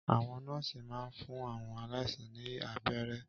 Àwọn nọ́ọ̀sì máa n fún àwọn aláìsàn ní abẹ́rẹ́